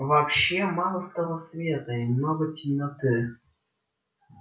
вообще мало стало света и много темноты